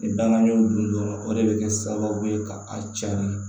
Ni dangan y'o dun dɔrɔn o de bɛ kɛ sababu ye ka a carin